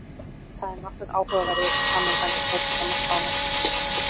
Það er nokkuð áhugaverður framundan í fótboltanum á Spáni.